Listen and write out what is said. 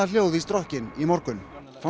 hljóð í strokkinn í morgun